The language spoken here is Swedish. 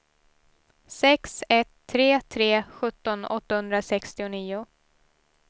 sex ett tre tre sjutton åttahundrasextionio